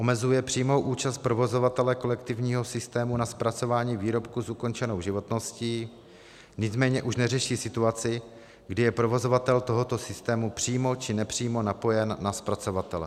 Omezuje přímou účast provozovatele kolektivního systému na zpracování výrobků s ukončenou životností, nicméně už neřeší situaci, kdy je provozovatel tohoto systému přímo či nepřímo napojen na zpracovatele.